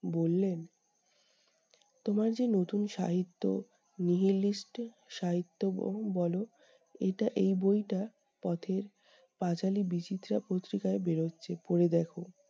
বললেন, তোমার যে নতুন সাহিত্য nihilist সাহিত্য ব বলো, এটা এই বইটা পথের পাঁচালি বিচিত্রা পত্রিকায় বেরোচ্ছে, পড়ে দেখো।